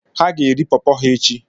Ha ga-eri popo ha echi.